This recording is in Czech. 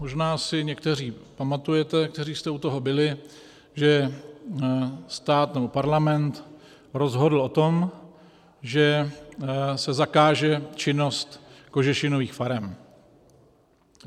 Možná si někteří pamatujete, kteří jste u toho byli, že stát nebo parlament rozhodl o tom, že se zakáže činnost kožešinových farem.